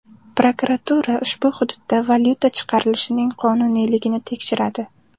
Prokuratura ushbu hududda valyuta chiqarilishining qonuniyligini tekshiradi.